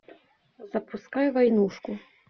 запускай войнушку